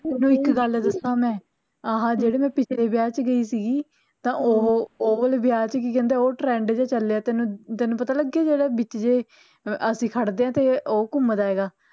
ਤੈਨੂੰ ਇਕ ਗੱਲ ਦੱਸਾਂ ਮੈਂ ਆਹ ਜਿਹੜੇ ਮੈਂ ਪਿਛਲੇ ਵਿਆਹ ਚ ਗਈ ਸੀਗੀ ਤਾਂ ਓਹ ਓਹ ਵਾਲੇ ਵਿਆਹ ਚ ਕੀ ਕਹਿੰਦੇ ਆ trend ਜਿਹਾ ਚਲਿਆ ਤੈਨੂੰ ਤੈਨੂੰ ਪਤਾ ਲੱਗਿਆ ਜਿਹੜਾ ਵਿਚ ਜੇ ਅਸੀਂ ਖੜਦੇ ਆ ਤੇ ਉਹ ਘੁੰਮਦਾ ਐਗਾ